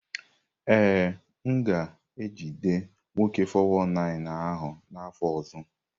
Ee, m ga-ejide nwoke 419 ahụ n’afọ ọzọ.